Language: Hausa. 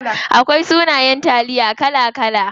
Akwai sunayen taliya kala kala.